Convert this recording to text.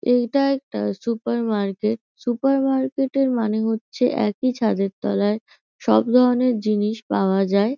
এইটা একটা সুপারমার্কেট । সুপারমার্কেটের মানে হচ্ছে একই ছাদের তলায় সব ধরনের জিনিস পাওয়া যায়।